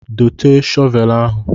Dote shọvelu ahụ.